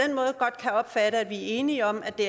opfatte om vi er enige om at det